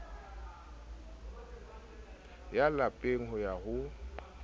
ya lapeng ho ya ho